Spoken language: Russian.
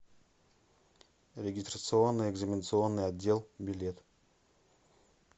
регистрационно экзаменационный отдел билет